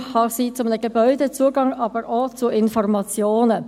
Ein Zugang kann ein Zugang zu einem Gebäude sein, aber ebenfalls zu Informationen.